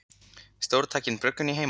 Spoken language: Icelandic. Stórtæk bruggun í heimahúsi